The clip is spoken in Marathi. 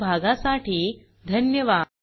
सहभागाबद्दल धन्यवाद